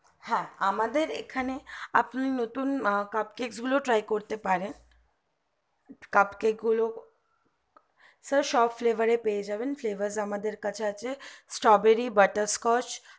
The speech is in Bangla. হ্যাঁ আমাদের এখানে আপনি নতুন cup tray গুলো try করতে পারেন cup tray গুলো sir সব fever পেয়ে যাবেন fever আমাদের কাছে আছে strawberry butterscotch